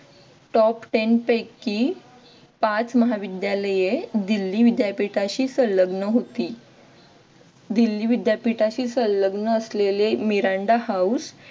top ten पैकी पाच महाविद्यालये दिल्ली विद्यापीठाशी संलग्न होती. दिल्ली विद्यापीठाशी संलग्न असलेले मिरांडा हाउस